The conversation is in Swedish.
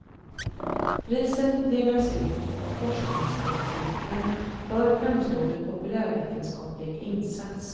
Priset delas ut av forskningsrådsnämnden för framstående populärvetenskaplig insats.